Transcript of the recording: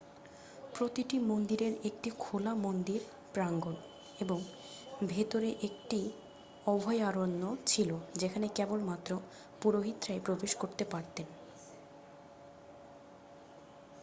প্রতিটি মন্দিরের একটি খোলা মন্দির প্রাঙ্গন এবং ভেতরে একটি অভয়ারণ্য ছিল যেখানে কেবলমাত্র পুরোহিতরাই প্রবেশ করতে পারতেন